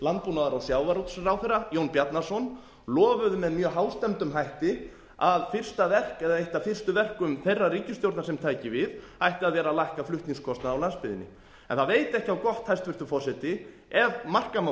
möller og hæstvirtur landbúnaðar og sjávarútvegsráðherra jón bjarnason lofuðu með mjög hástemmdum hætti að fyrsta verk eða eitt af fyrstu verkum þeirrar ríkisstjórnar sem tæki við ætti að vera að lækka flutningskostnað á landsbyggðinni en það veit ekki á gott hæstvirtur forseti ef marka má